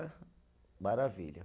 Maravilha.